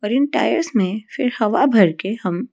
और इन टायर्स मे फिर हवा भर के हम --